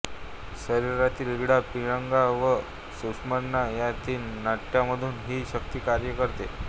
शरीरातील इडा पिंगला व सुषुम्ना या तीन नाड्यांमधून ही शक्ती कार्य करते